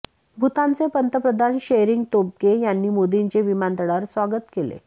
भूतानचे पंतप्रधान शेरिंग तोबगे यांनी मोदींचे विमानतळावर स्वागत केले